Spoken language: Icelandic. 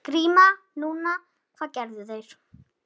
GRÍMUR: Nú, hvað gerðu þeir?